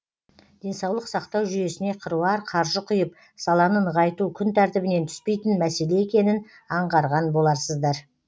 денсаулық сақтау жүйесіне қыруар қаржы құйып саланы нығайту күн тәртібінен түспейтін мәселе екенін аңғарған боларсыздар